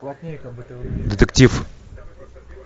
детектив